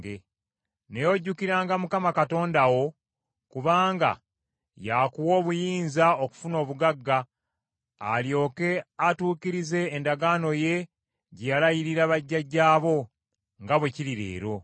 Naye ojjukiranga Mukama Katonda wo, kubanga y’akuwa obuyinza okufuna obugagga, alyoke atuukirize endagaano ye gye yalayirira bajjajjaabo, nga bwe kiri leero.